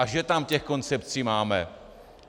A že tam těch koncepcí máme!